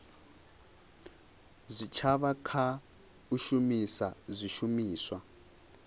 zwitshavha kha u shumisa zwishumiswa